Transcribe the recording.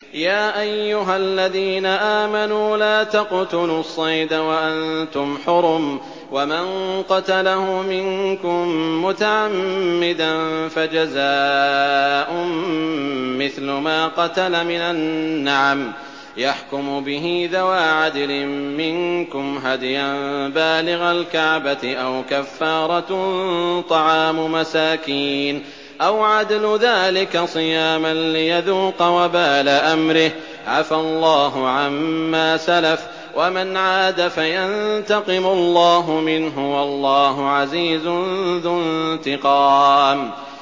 يَا أَيُّهَا الَّذِينَ آمَنُوا لَا تَقْتُلُوا الصَّيْدَ وَأَنتُمْ حُرُمٌ ۚ وَمَن قَتَلَهُ مِنكُم مُّتَعَمِّدًا فَجَزَاءٌ مِّثْلُ مَا قَتَلَ مِنَ النَّعَمِ يَحْكُمُ بِهِ ذَوَا عَدْلٍ مِّنكُمْ هَدْيًا بَالِغَ الْكَعْبَةِ أَوْ كَفَّارَةٌ طَعَامُ مَسَاكِينَ أَوْ عَدْلُ ذَٰلِكَ صِيَامًا لِّيَذُوقَ وَبَالَ أَمْرِهِ ۗ عَفَا اللَّهُ عَمَّا سَلَفَ ۚ وَمَنْ عَادَ فَيَنتَقِمُ اللَّهُ مِنْهُ ۗ وَاللَّهُ عَزِيزٌ ذُو انتِقَامٍ